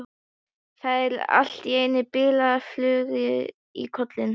Fær allt í einu bilaða flugu í kollinn.